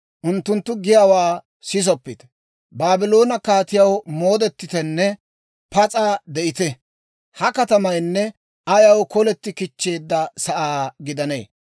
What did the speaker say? Unttunttu giyaawaa sisoppite; Baabloone kaatiyaw moodettitenne pas'a de'ite! Ha katamaynne ayaw koleti kichcheedda sa'aa gidanee?